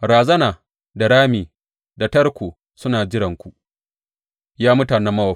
Razana da rami da tarko suna jiranku, Ya mutanen Mowab,